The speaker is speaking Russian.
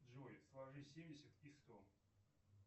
джой сложи семьдесят и сто